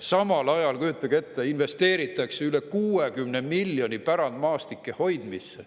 Samal ajal, kujutage ette, investeeritakse üle 60 miljoni euro pärandmaastike hoidmisse.